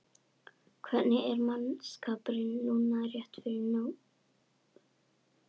Hvernig er mannskapurinn núna rétt fyrir mót?